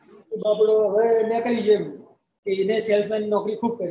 તો એ નીકળી ગયો તો એને salesman ની નોકરી ખુબ કરી